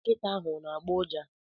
Nkịta ahụ ona-agbọ ụja?